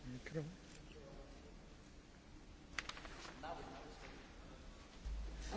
În acest moment, prioritatea pentru Orientul Mijlociu trebuie să fie salvarea procesului de pace.